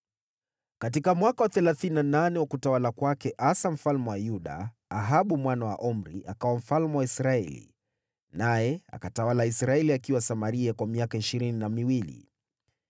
Katika mwaka wa thelathini na nane wa utawala wa Asa mfalme wa Yuda, Ahabu mwana wa Omri akawa mfalme wa Israeli, naye akatawala Israeli akiwa Samaria kwa miaka ishirini na miwili.